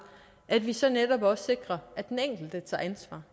at vi så netop også sikrer at den enkelte tager ansvar